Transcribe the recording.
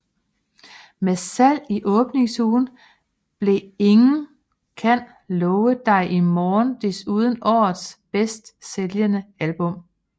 Med salget i åbningsugen blev Ingen kan love dig i morgen desuden årets bedste sælgende album